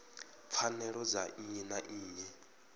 pfanelo dza nnyi na nnyi